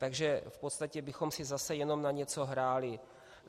Takže v podstatě bychom si zase jenom na něco hráli.